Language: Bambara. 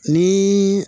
Ni